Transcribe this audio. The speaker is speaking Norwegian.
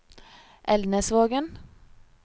Elnesvågen